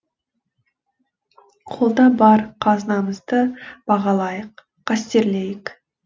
қолда бар қазынамызды бағалайық қастерлейік